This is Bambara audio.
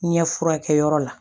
Ɲɛ furakɛyɔrɔ la